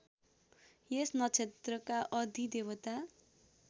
यस नक्षत्रका अधिदेवता